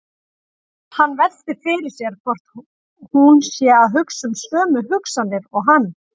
Hann veltir fyrir sér hvort hún sé að hugsa sömu hugsanir og hann.